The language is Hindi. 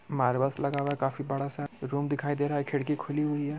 मार्बलस लगा हुआ है काफी बड़ा सा रूम दिखाई दे रहा है खिड़की खुली हूई है।